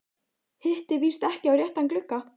Hitti víst ekki á réttan glugga.